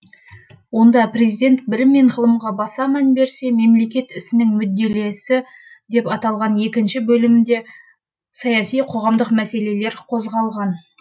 онда президент білім мен ғылымға баса мән берсе мемлекет ісінің мүдделесі деп аталған екінші бөлімде саяси қоғамдық мәселелер қозғалған